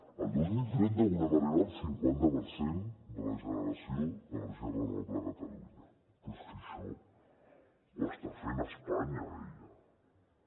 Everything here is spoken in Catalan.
el dos mil trenta volem arribar al cinquanta per cent de la generació d’energia renovable a catalunya però és que això ho està fent espanya eh ja